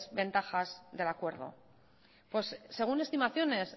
ventajas del acuerdo según estimaciones